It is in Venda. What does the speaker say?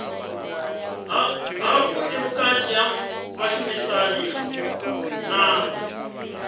havhuḓi vhukati ha vhashumisani na